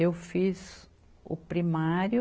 Eu fiz o primário